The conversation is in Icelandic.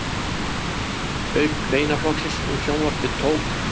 Auk greinaflokksins um sjónvarpið tók